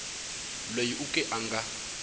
loyi u ke a nga